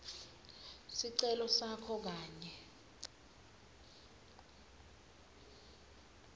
sicelo sakho kanye